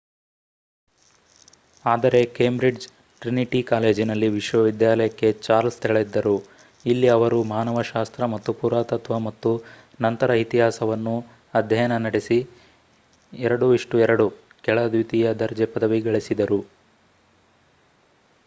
ಆದರೆ ಕೇಂಬ್ರಿಜ್‌ನ ಟ್ರಿನಿಟಿ ಕಾಲೇಜಿನಲ್ಲಿ ವಿಶ್ವವಿದ್ಯಾಲಯಕ್ಕೆ ಚಾರ್ಲ್ಸ್‌ ತೆರಳಿದ್ದರು ಇಲ್ಲಿ ಅವರು ಮಾನವಶಾಸ್ತ್ರ ಮತ್ತು ಪುರಾತತ್ವ ಮತ್ತು ನಂತರ ಇತಿಹಾಸವನ್ನು ಅಧ್ಯಯನ ನಡೆಸಿ. 2:2 ಕೆಳ ದ್ವಿತೀಯ ದರ್ಜೆ ಪದವಿ ಗಳಿಸಿದರು